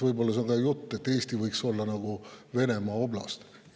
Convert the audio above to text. Võib-olla see on ka jutt, et Eesti võiks olla Venemaa oblast.